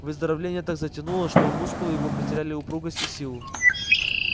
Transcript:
выздоровление так затянулось что мускулы его потеряли упругость и силу